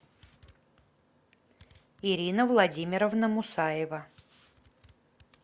ирина владимировна мусаева